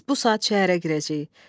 Biz bu saat şəhərə girəcəyik.